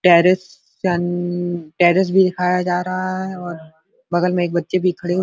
terrace terrace भी दिखाया जा रहा है और बगल में एक बच्चे भी खड़े --